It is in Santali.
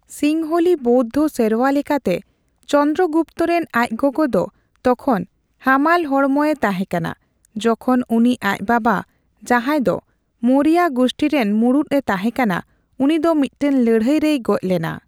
ᱥᱤᱝᱦᱚᱞᱤ ᱵᱳᱩᱫᱷᱳ ᱥᱮᱨᱣᱟ ᱞᱮᱠᱟᱛᱮ, ᱪᱚᱱᱫᱨᱚᱜᱩᱯᱛᱚ ᱨᱮᱱ ᱟᱪ ᱜᱚᱜᱚ ᱫᱚ ᱛᱚᱠᱷᱚᱱ ᱦᱟᱢᱟᱞ ᱦᱚᱲᱢᱚᱭᱮ ᱛᱟᱦᱮᱠᱟᱱᱟ ᱡᱚᱠᱷᱚᱱ ᱩᱱᱤ ᱟᱪ ᱵᱟᱵᱟᱼᱡᱟᱦᱟᱭ ᱫᱚ ᱢᱳᱨᱤᱭᱟ ᱜᱩᱥᱴᱷᱤᱨᱮᱱ ᱢᱩᱲᱩᱛᱮ ᱛᱟᱦᱮᱠᱟᱱᱟᱼ ᱩᱱᱤ ᱫᱚ ᱢᱤᱴᱴᱮᱱ ᱞᱟᱹᱲᱦᱟᱹᱭ ᱨᱮᱭ ᱜᱚᱪ ᱞᱮᱱᱟ ᱾